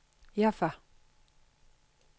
Jaffa